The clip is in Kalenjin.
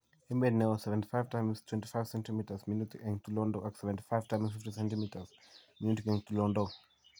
Emet ne oo: 75x25cm minutik eng' tulondok, ak 75 x 50cm minutik eng' tulondok.